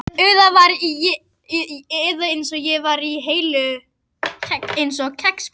Þér félli eitthvað til, sagði sú stutta.